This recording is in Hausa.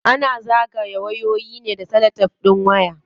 Ana zagaye wayoyi ne da salatef din waya.